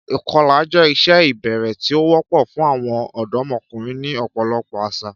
Ìkọlà jẹ́ ìṣe ìbẹ̀rẹ̀ tí ó wọ́pọ̀ fún àwọn ọ̀dọ́mọkùnrin ní ọ̀pọ̀lọpọ̀ àṣà.